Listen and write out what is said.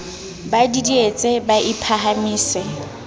ba didietse ba ie phahamise